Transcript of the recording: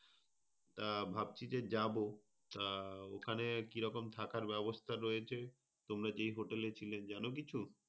আহ ভাবছি যে যাব। আহ ওখানে কী রকম থাকার ব্যবস্থা রয়েছে? তোমরা যেই hotel এ ছিলে যান কিছু?